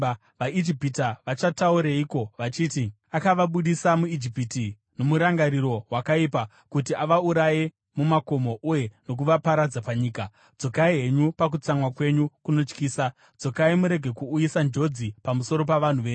VaIjipita vachataurireiko vachiti, ‘Akavabudisa muIjipiti nomurangariro wakaipa, kuti avauraye mumakomo uye nokuvaparadza panyika’? Dzokai henyu pakutsamwa kwenyu kunotyisa; dzokai murege kuuyisa njodzi pamusoro pavanhu venyu.